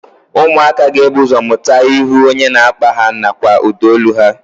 Ụmụaka ga-ebu ụzọ mụta ihu onye na-akpa ha nakwa ụdaolu ha